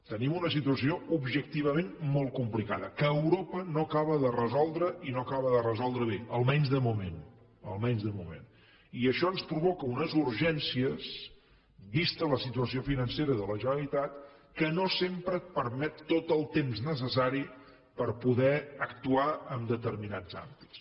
tenim una situació objectivament molt complicada que europa no acaba de resoldre i no acaba de resoldre bé almenys de moment almenys de moment i això ens provoca unes urgències vista la situació financera de la generalitat que no sempre et permeten tot el temps necessari per poder actuar en determinats àmbits